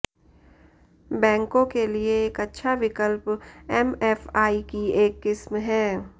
बैंकों के लिए एक अच्छा विकल्प एमएफआई की एक किस्म है